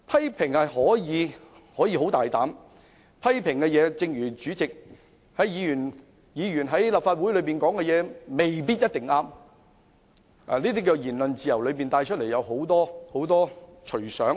議員可以作出很大膽的批評，但正如主席也說議員在立法會的發言未必一定正確，言論自由引申出來的，可以是很多隨想。